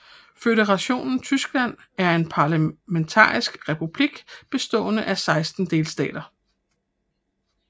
Føderationen Tyskland er en parlamentarisk republik bestående af 16 delstater